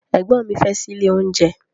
Ẹ̀gbọ́n mi fẹ́ ṣílé oúnjẹ.